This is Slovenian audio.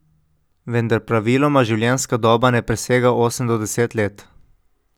Vendar praviloma življenjska doba ne presega osem do deset let.